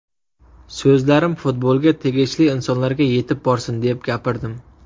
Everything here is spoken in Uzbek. So‘zlarim futbolga tegishli insonlarga yetib borsin, deb gapirdim.